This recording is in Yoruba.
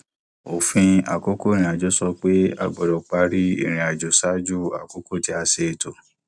òfin àkókò àìrìnàjò sọ pé a gbọdọ parí irinàjò ṣáájú àkókò tí a ṣe ètò